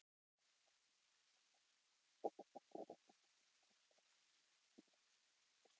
Höfðu þau augsýnilega ekki látið sitt eftir liggja.